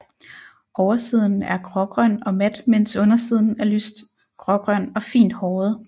Oversiden er grågrøn og mat mens undersiden er lyst grågrøn og fint håret